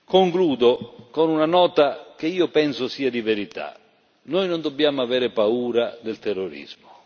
Concludo con una nota che io penso sia di verità noi non dobbiamo avere paura del terrorismo.